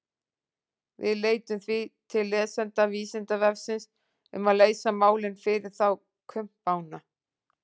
Við leitum því til lesenda Vísindavefsins um að leysa málin fyrir þá kumpána.